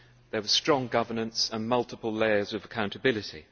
there was strong governance and multiple layers of accountability.